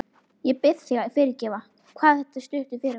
Ég bið þig að fyrirgefa hvað þetta er stuttur fyrirvari.